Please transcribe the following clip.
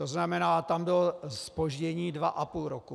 To znamená, tam bylo zpoždění dva a půl roku.